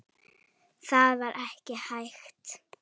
Það var ekki hægt.